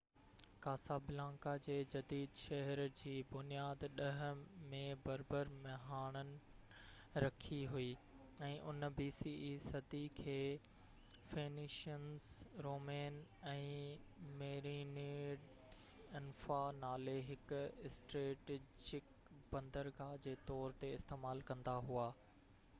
Casablanca جي جديد شهر جي بنياد 10 صدي bce ۾ بربر مهاڻن رکي هئي ۽ ان کي فينيشنس رومين ۽ ميرينيڊز انفا نالي هڪ اسٽريٽيجڪ بندرگاه جي طور تي استعمال ڪندا هئا